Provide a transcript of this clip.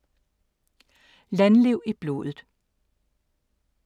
Landliv i blodet